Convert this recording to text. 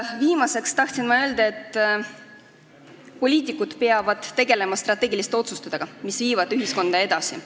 Viimaseks tahtsin ma öelda, et poliitikud peavad tegelema strateegiliste otsustega, mis viivad ühiskonda edasi.